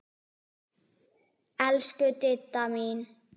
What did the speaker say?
Elsku Didda mín.